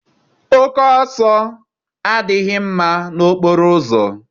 Oke ọsọ adịghị mma n'okporoụzọ